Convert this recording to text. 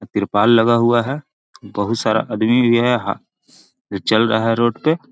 तिरपाल लगा हुआ है बहुत सारा आदमी भी है जो चल रहा है रोड पे|